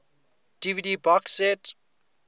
dvd box set